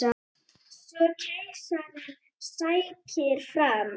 Svo keisarinn sækir fram.